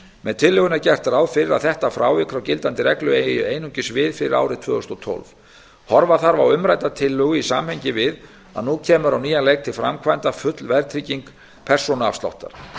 með tillögunni er gert ráð fyrir að þetta frávik frá gildandi reglu eigi einungis við fyrir árið tvö þúsund og tólf horfa þarf á umrædda tillögu í samhengi við að nú kemur á nýjan leik til framkvæmda full verðtrygging persónuafsláttar